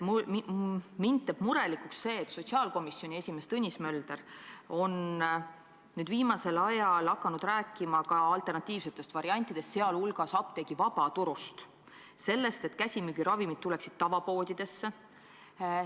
Mind teeb murelikuks see, et sotsiaalkomisjoni esimees Tõnis Mölder on viimasel ajal hakanud rääkima ka alternatiivsetest variantidest, sh apteegi vabaturust – sellest, et käsimüügiravimid tuleksid tavapoodidesse.